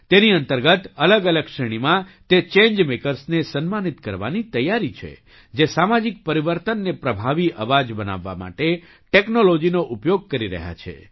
તેની અંતર્ગત અલગઅલગ શ્રેણીમાં તે ચેન્જ મેકર્સને સન્માનિત કરવાની તૈયારી છે જે સામાજિક પરિવર્તનને પ્રભાવી અવાજ બનાવવા માટે ટૅક્નૉલૉજીનો ઉપયોગ કરી રહ્યા છે